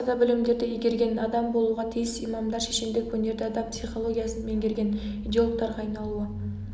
басқа да білімдерді игерген адам болуға тиіс имамдар шешендік өнерді адам психологиясын меңгерген идеологтарға айналуы